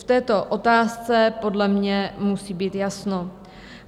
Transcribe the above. V této otázce podle mě musí být jasno.